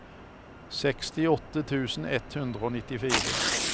sekstiåtte tusen ett hundre og nittifire